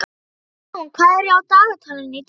Örbrún, hvað er á dagatalinu í dag?